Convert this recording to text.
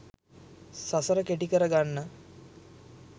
සසර කෙටි කරගන්න